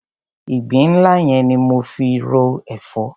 Ìgbín nla yẹn ni mo fi ro èfọ́.